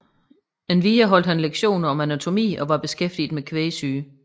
Endvidere holdt han lektioner om anatomi og var beskæftiget med kvægsyge